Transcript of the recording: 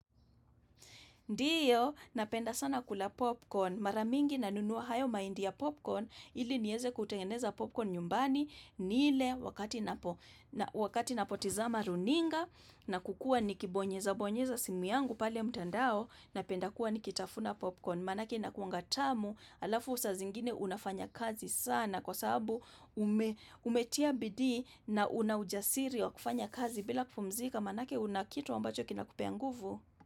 Ndiyo, napenda sana kula popcorn. Mara mingi nanunua hayo mahindi ya popcorn ili nieze kutengeneza popcorn nyumbani nile wakati napotizama runinga na kukuwa nikibonyeza bonyeza simu yangu pale mtandao napenda kuwa nikitafuna popcorn. Maanake inakuwanga tamu alafu saa zingine unafanya kazi sana kwa sababu ume umetia bidii na una ujasiri wa kufanya kazi bila kupumzika maanake una kitu ambacho kinakupea nguvu.